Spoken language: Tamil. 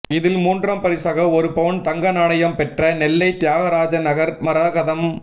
இதில் மூன்றாம் பரிசாக ஒரு பவுன் தங்க நாணயம் பெற்ற நெல்லை தியாகராஜநகர் மரகதம்